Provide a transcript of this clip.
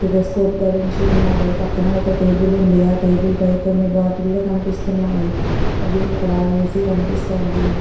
Stethoscope ధరించి ఉన్నారు పక్కన ఒక టెబుల్ వుంది ఆ టెబుల్ పై కొన్ని బాటిల్స్ కనిపిస్తున్నాయి మరియు ఇక్కడ ఏసి కనిపిస్తోంది.